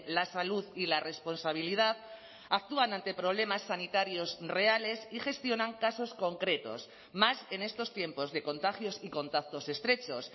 la salud y la responsabilidad actúan ante problemas sanitarios reales y gestionan casos concretos más en estos tiempos de contagios y contactos estrechos